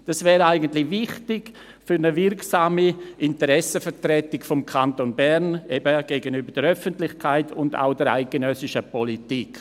Dies wäre eigentlich wichtig für eine wirksame Interessenvertretung des Kantons Bern, eben gegenüber der Öffentlichkeit, aber auch gegenüber der eidgenössischen Politik.